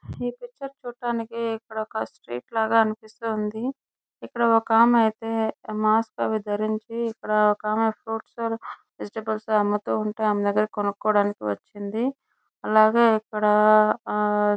ఈ పిక్చర్ చూడడానికి ఇక్కడ ఒక స్ట్రీట్ లాగా అనిపిస్తుంది. ఇక్కడ ఒక అమ్మాయి అయితే మా అక్కవి ధరించి ఒక ఆమె కూర్చుని గిఫ్ట్ ఆర్టికల్ సమతూ ఆమె దగ్గర కొనుక్కోవడానికి వచ్చింది.